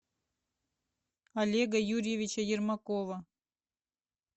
олега юрьевича ермакова